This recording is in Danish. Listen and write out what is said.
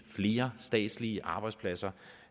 flere statslige arbejdspladser